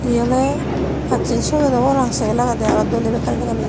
iye oley pacchen sogan obow pang segel agede aro doley gottal dega no jai.